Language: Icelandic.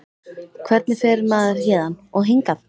Hvernig fer maður héðan. og hingað??